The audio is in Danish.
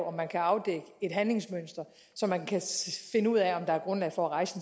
om man kan afdække et handlingsmønster så man kan finde ud af om der er grundlag for at rejse